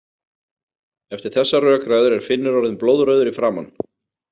Eftir þessar rökræður er Finnur orðinn blóðrauður í framan.